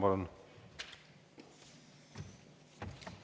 Palun!